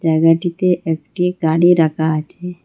জায়গাটিতে একটি গাড়ির রাকা আছে।